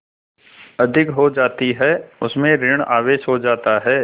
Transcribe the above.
अधिक हो जाती है उसमें ॠण आवेश हो जाता है